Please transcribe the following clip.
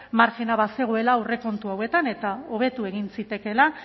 marjina bazegoela aurrekontu hauetan eta hobetu egin zitekeela